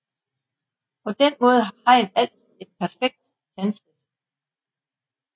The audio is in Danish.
På den måde har hajen altid et perfekt tandsæt